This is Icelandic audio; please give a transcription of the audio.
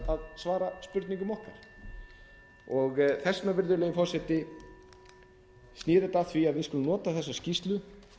að svara spurningum okkar þess vegna virðulegur forseti snýr þetta að því að við skulum nota þessa skýrslu